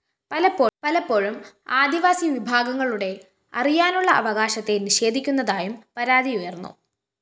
പലപ്പോഴും ആദിവാസി വിഭാഗങ്ങളുടെ അറിയാനുള്ള അവകാശത്തെ നിഷേധിക്കുന്നതായും പരാതി ഉയര്‍ന്നു